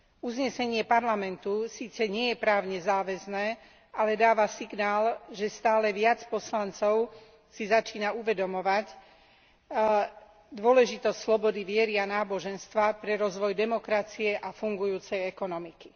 Uznesenie Parlamentu síce nie je právne záväzné, ale dáva signál, že stále viac poslancov si začína uvedomovať dôležitosť slobody viery a náboženstva pre rozvoj demokracie a fungujúcej ekonomiky.